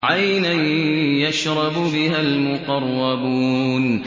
عَيْنًا يَشْرَبُ بِهَا الْمُقَرَّبُونَ